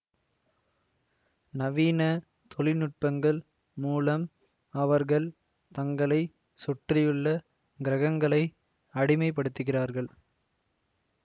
நவீன தொழில்நுட்பங்கள் மூலம் அவர்கள் தங்களை சுற்றியுள்ள கிரகங்களை அடிமைப்படுத்துகிறார்கள்